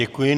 Děkuji.